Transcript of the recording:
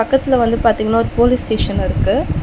பக்கத்துல வந்து பாத்தீங்கன்னா ஒரு போலீஸ் ஸ்டேஷன் இருக்கு.